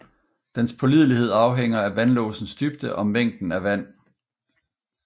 Dens pålidelighed afhænger af vandlåsens dybde og mængden af vand